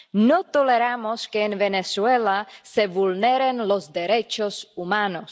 no toleramos que en Venezuela se vulneren los derechos humanos.